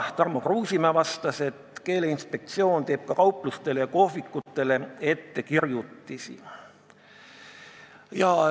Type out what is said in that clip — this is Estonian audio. Tarmo Kruusimäe vastas, et Keeleinspektsioon teeb ka kauplustele ja kohvikutele ettekirjutusi.